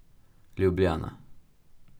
Ljubljana.